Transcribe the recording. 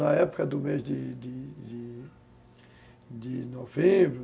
Na época do mês de de de novembro,